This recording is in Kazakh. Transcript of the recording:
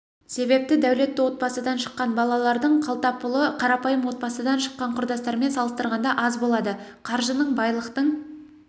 себепті дәулетті отбасыдан шыққан балалардың қалтапұлы қарапайым отбасыдан шыққан құрдастарымен салыстырғанда аз болады қаржының байлықтың